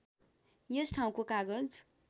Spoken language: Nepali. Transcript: यस ठाउँको कागज